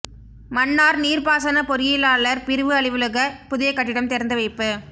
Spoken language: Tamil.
மன்னார் நீர்ப்பாசன பொறியியலாளர் பிரிவு அலுவலக புதிய கட்டிடம் திறந்து வைப்பு